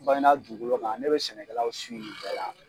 Bakinda dugukolo kan ne be sɛnɛkɛlaw nin bɛɛ la